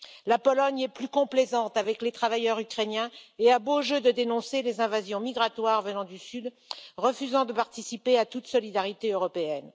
La Pologne est plus complaisante avec les travailleurs ukrainiens et a beau jeu de dénoncer les invasions migratoires venant du Sud, refusant de participer à toute solidarité européenne.